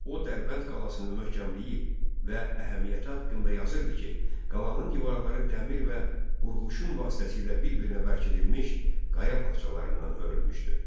O Dərbənd qalasının möhkəmliyi və əhəmiyyəti haqqında yazırdı ki, qalanın divarları dəmir və qurğuşun vasitəsilə bir-birinə bərkidilmiş qaya parçalarından hörülmüşdü.